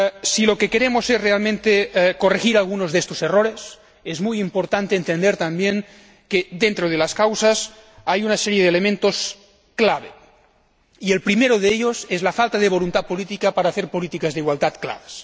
Si lo que queremos es realmente corregir algunos de estos errores, es muy importante entender también que, dentro de las causas, hay una serie de elementos clave, y el primero de ellos es la falta de voluntad política para hacer políticas de igualdad claras.